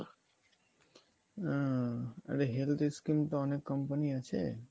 হম তবে health scheme তো অনেক company আছে